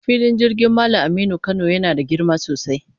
Filin jirgin Mallam Aminu Kano yana da girma sosai.